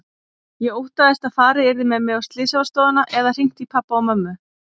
Ég óttaðist að farið yrði með mig á slysavarðstofuna eða hringt í pabba og mömmu.